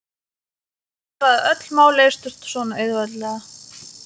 Bara að öll mál leystust svona auðveldlega.